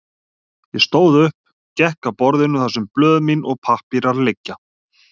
Ég stóð upp, gekk að borðinu þar sem blöð mín og pappírar liggja.